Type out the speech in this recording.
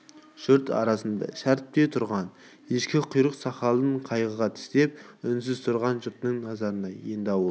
жұрт арасында шәріп те тұрған ешкі құйрық сақалын қайыра тістеп үнсіз тұрған жұрттьң назары енді ауыл